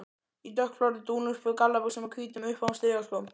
Í dökkblárri dúnúlpu, gallabuxum og hvítum, uppháum strigaskóm.